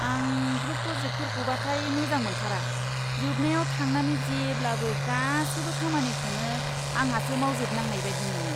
आं ग्रुप प्रजेकटफोरखौबाथाय मोजां मोनथारा, जोबनायाव थांनानै जेब्लाबो गासैबो खामानिखौनो आंहासो मावजोबनांनाय बायदि मोनो!